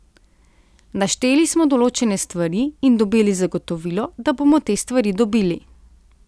Našteli smo določene stvari in dobili zagotovilo, da bomo te stvari dobili.